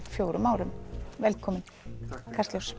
fjórum árum velkomin takk